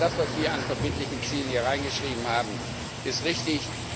Also das, was wir an verbindlichen Zielen hier reingeschrieben haben, ist richtig.